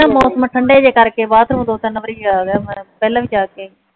ਮੌਸਮ ਠੰਡੇ ਜੇ ਕਰਕੇ ਬਾਥਰੂਮ ਦੋ ਤਿਨ ਵਾਰ ਆ ਗਿਆ ਪਿਹਲਾਂ ਵੀ ਜਾ ਕੇ ਆਈ